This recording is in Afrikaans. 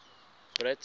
brits